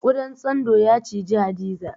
Ƙudan tsando ya ciji Hadiza.